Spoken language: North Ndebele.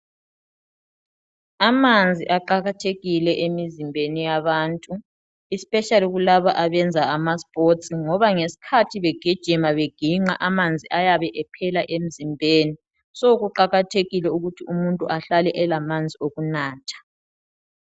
Amanzi aqakathekile emizimbeni yabantu especially kulabo abenza amasports ngoba ngesikhathi begijima begiqa amanzi ayabe ephela emzimbeni so kuqakathekile ukuthi umuntu ahlale elamanzi okunatha.